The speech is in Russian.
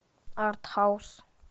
артхаус